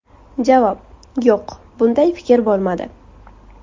Javob: Yo‘q, bunday fikr bo‘lmadi.